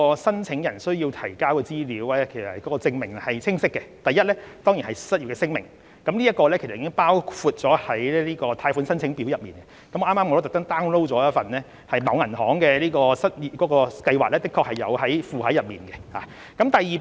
申請人需要提交的資料和證明是清晰的：第一，當然是失業聲明，這已包括在貸款申請表內，剛才我也特意 download 了某銀行的失業貸款計劃申請表，當中的確附有相關聲明。